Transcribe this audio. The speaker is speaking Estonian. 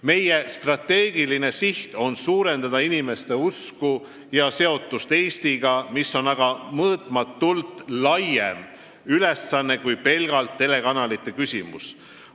Meie strateegiline siht on suurendada inimeste usku Eestisse ja seotust Eestiga, mis on aga mõõtmatult laiem ülesanne kui pelgalt telekanalite küsimus.